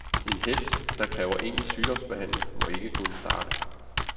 En hest, der kræver egentlig sygdomsbehandling, må ikke kunne starte.